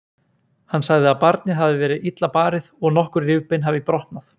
Hann sagði að barnið hafi verið illa barið og nokkur rifbein hafi brotnað.